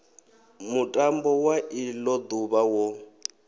mutambo wa ilo duvha wo